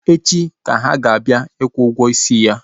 Echi ka ha na-abịa ịkwụ ụgwọ isi ya